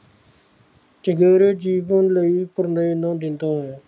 ਚੁਫੇਰੇ ਜੀਵਨ ਲਈ ਪ੍ਰੇਰਨਾ ਦਿੰਦਾ ਹੈ